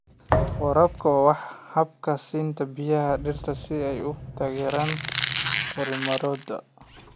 Waraabka waa habka siinta biyaha dhirta si ay u taageeraan korriimadooda.